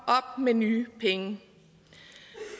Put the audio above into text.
op med nye penge